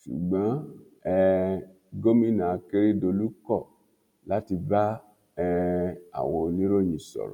ṣùgbọn um gòmìnà akérèdọlù kọ láti bá um àwọn oníròyìn sọrọ